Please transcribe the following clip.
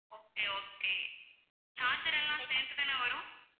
okay okay charger எல்லாம் சேர்த்து தான வரும்